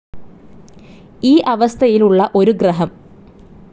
ഈ അവസ്ഥയിൽ ഉളള ഒരു ഗ്രഹം